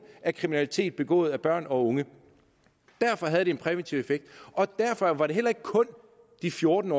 af kriminalitet begået af børn og unge derfor havde det en præventiv effekt og derfor var det heller ikke kun de fjorten